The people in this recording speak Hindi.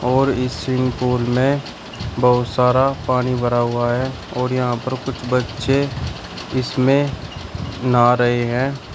और इस स्विमिंग पूल में बहुत सारा पानी भरा हुआ है और यहां पर कुछ बच्चे इसमें नहा रहे हैं।